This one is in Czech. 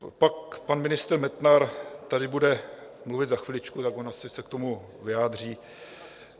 Pak pan ministr Metnar tady bude mluvit za chviličku, tak on asi se k tomu vyjádří.